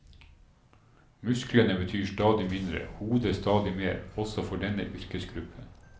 Musklene betyr stadig mindre, hodet stadig mer, også for denne yrkesgruppen.